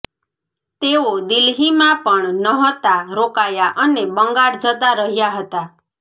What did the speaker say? તેઓ દિલ્હીમાં પણ નહતા રોકાયા અને બંગાળ જતા રહ્યા હતા